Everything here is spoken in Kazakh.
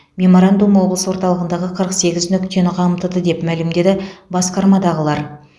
меморандум облыс орталығындағы қырық сегіз нүктені қамтыды деп мәлімдеді басқармадағылар